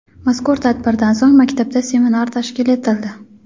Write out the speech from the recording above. Mazkur tadbirdan so‘ng, maktabda seminar tashkil etildi.